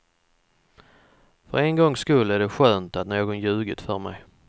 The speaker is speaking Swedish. För en gångs skull är det skönt att någon ljugit för mig.